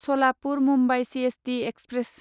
Salapur Mumbai CST express